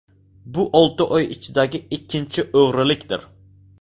Bu olti oy ichidagi ikkinchi o‘g‘rilikdir.